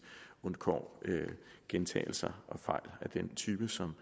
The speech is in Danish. undgår gentagelser og fejl af den type som